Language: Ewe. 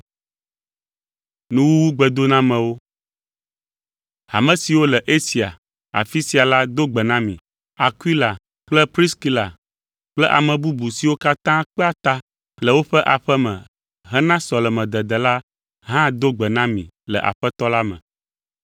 Hame siwo le Asia afi sia la do gbe na mi. Akwila kple Priskila kple ame bubu siwo katã kpea ta le woƒe aƒe me hena sɔlemedede la hã do gbe na mi le Aƒetɔ la me.